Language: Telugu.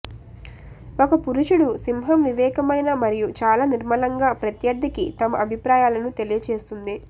ఒక పురుషుడు సింహం వివేకమైన మరియు చాలా నిర్మలంగా ప్రత్యర్థికి తమ అభిప్రాయాలను తెలియచేస్తుంది